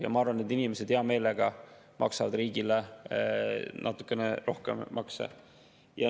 Ja ma arvan, et need inimesed hea meelega maksavad riigile natukene rohkem makse.